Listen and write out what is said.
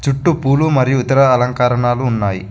చుట్టూ పూలు మరియు ఇతర అలంకారణాలు ఉన్నాయి.